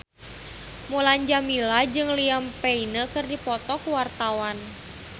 Mulan Jameela jeung Liam Payne keur dipoto ku wartawan